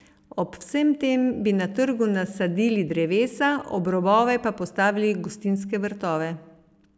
Ob vsem tem bi na trgu nasadili drevesa, ob robove pa postavili gostinske vrtove.